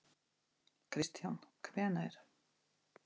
Kristján: Hvenær?